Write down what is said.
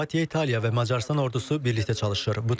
Xorvatiya, İtaliya və Macarıstan ordusu birlikdə çalışır.